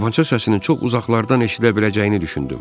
Tapança səsini çox uzaqlardan eşidə biləcəyini düşündüm.